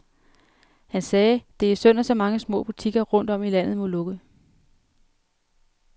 Han sagde, at det er synd, at så mange små butikker rundt om i landet må lukke.